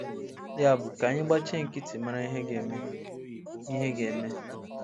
Yabụ, ka anyị gbachie nkịtị mara ihe ga-eme. ihe ga-eme.